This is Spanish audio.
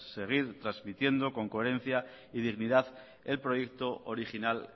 seguir transmitiendo con coherencia y dignidad el proyecto original